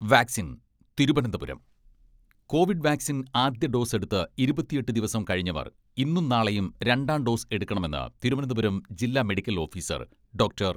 Vaccine, Thiruvananthapuram, covid vaccine ആദ്യ dose എടുത്ത് ഇരുപത്തിയെട്ട് ദിവസം കഴിഞ്ഞവർ ഇന്നും നാളെയും രണ്ടാം ഡോസ് എടുക്കണമെന്ന് തിരുവനന്തപുരം ജില്ലാ മെഡിക്കൽ ഓഫിസർ ഡോക്ടർ.